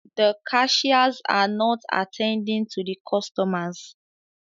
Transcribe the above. The cashiers are not attending to the customers